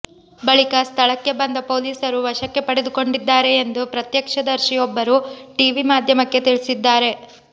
ಬಳಿಕ ಸ್ಥಳಕ್ಕೆ ಬಂದ ಪೊಲೀಸರು ವಶಕ್ಕೆ ಪಡೆದುಕೊಂಡಿದ್ದಾರೆ ಎಂದು ಪ್ರತ್ಯಕ್ಷದರ್ಶಿಯೊಬ್ಬರು ಟಿವಿ ಮಾಧ್ಯಮಕ್ಕೆ ತಿಳಿಸಿದ್ದಾರೆ